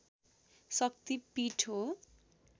शक्ति पीठ हो